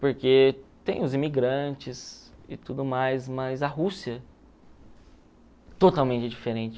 Porque tem os imigrantes e tudo mais, mas a Rússia totalmente diferente.